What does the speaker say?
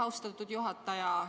Austatud juhataja!